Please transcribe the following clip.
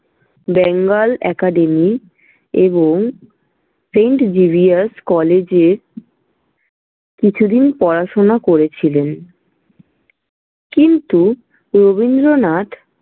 Bengal Academy এবং St. Xavier's College এ কিছুদিন পড়াশোনা করেছিলেন কিন্তু রবীন্দ্রনাথ।